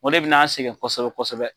O le bɛ n'an sɛgɛn kosɛbɛ kosɛbɛ.